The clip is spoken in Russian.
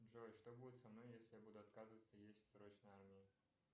джой что будет со мной если я буду отказываться есть в срочной армии